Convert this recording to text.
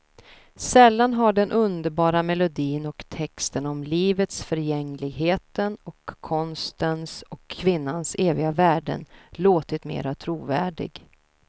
Sällan har den underbara melodin och texten om livets förgängligheten och konstens och kvinnans eviga värden låtit mera trovärdig.